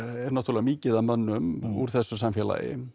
er náttúrulega mikið af mönnum úr þessu samfélagi